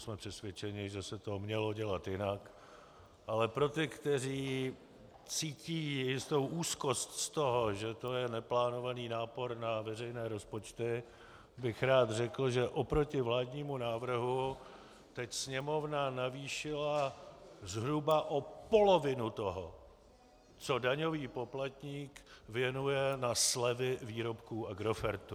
Jsme přesvědčeni, že se to mělo dělat jinak, ale pro ty, kteří cítí jistou úzkost z toho, že to je neplánovaný nápor na veřejné rozpočty, bych rád řekl, že oproti vládnímu návrhu teď Sněmovna navýšila zhruba o polovinu toho, co daňový poplatník věnuje na slevy výrobků Agrofertu.